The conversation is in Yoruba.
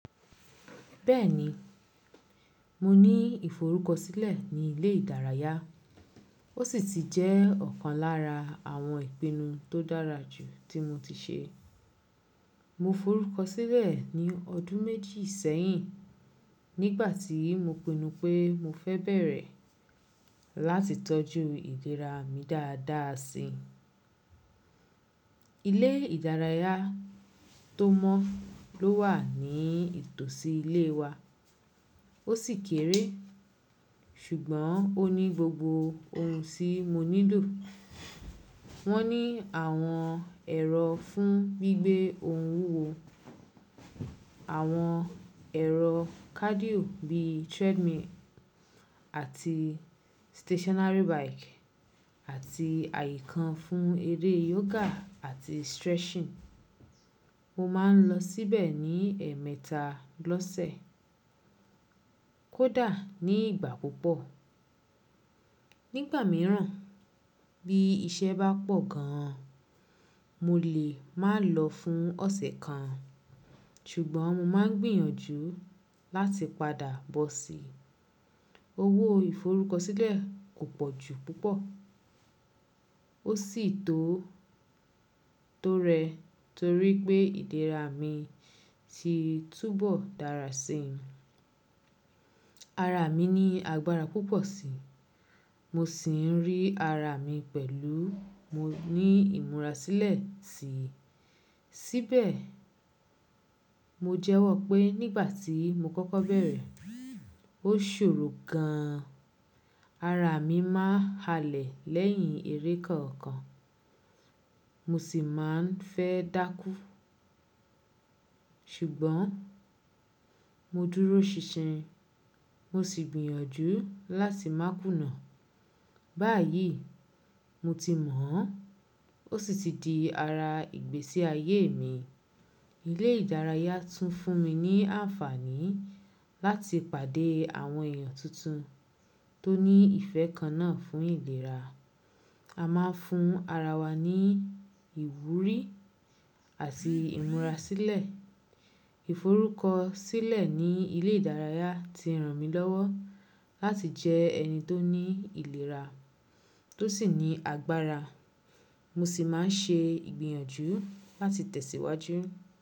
Bẹ́ẹ̀ni, mo ní ìforúkọ sílẹ̀ ní ilé ìdárayá. Ó sì ti jẹ́ ọ̀kan lára àwọn ìpinnu tó dára jù tí mo ti ṣe. Mo forúkọ sílẹ̀ ní ọdún méjì sẹ́yìn nígbà tí mo pinnu pé mo fẹ bẹ̀rẹ̀ láti tọ́jú ìlera mi dáadáa si. Ilé ìdárayá tó mọ ló wà ní ìtòsí ilé wa. Ó sì kéré, ṣùgbọ́n ó ní gbogbo ohun tí mo nílò. Wọ́n ní àwọn ẹ̀rọ fún gbígbé ohun wúwo, àwọn ẹ̀rọ cardio bí treadmill àti stationary bike àti àyíkan fún eré yoga àti stretching. Mo máa ń lọ síbẹ̀ ní ẹ̀ẹ̀mẹta lọ́sẹ̀. Ó dà ní ìgbà púpọ̀. Nígbà mìíràn bí iṣẹ́ bá pọ̀ gan, mo lè máa lọ fún ọ̀sẹ̀ kan, ṣùgbọ́n mo máa gbìyànjú láti padà bọ́ sí i. Owó ìforúkọ sílẹ̀ kò pọ̀ jù púpọ̀. Ó sì tó, tó rẹ torí pé ìlera mi ti túbọ̀ dára si. Ara mi ní agbára púpọ̀ si. Mo sì ń rí ara mi pẹ̀lú mo ní ìmúra sílẹ̀ sí i. Síbẹ̀, mo jẹ́wọ́ pé nígbà tí mo kọ́kọ́ bẹ̀rẹ̀, ó ṣòro gan. Ara mi máa ń halẹ̀ lẹ́yìn eré kọ̀ọ̀kan. Mo sì máa ń fẹ́ dákú. Ṣùgbọ́n mo dúró ṣinṣin. Mo sì gbìyànjú láti má kùnà. Báyìí, mo ti mọ̀ ọ́n. Ó sì ti di ara ìgbésí ayé mi. Ilé ìdárayá tún fún mi ní àǹfààní láti pàdé àwọn èèyàn tuntun tó ní ìfẹ́ kan náà fún ìlera. A máa ń fún ara wa ní ìwúrí àti ìmúra sílẹ̀. Ìforúkọ sílẹ̀ ní ilé ìdárayá ti ràn mí lọ́wọ́ láti jẹ ẹni tó ní ìlera tó sì ní agbára. Mo sì máa ń ṣe ìgbìyànjú láti tẹ̀síwájú.